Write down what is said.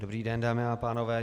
Dobrý den, dámy a pánové.